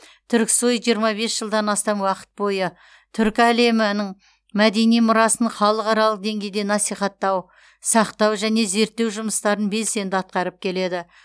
түрксой жиырма бес жылдан астам уақыт бойы түркі әлемінің мәдени мұрасын халықаралық деңгейде насихаттау сақтау және зерттеу жұмыстарын белсенді атқарып келеді